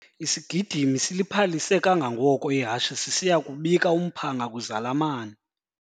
Isigidimi siliphalise kangangoko ihashe sisiya kubika umphanga kwizalamane.